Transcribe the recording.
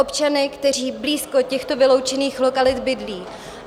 Občany, kteří blízko těchto vyloučených lokalit bydlí.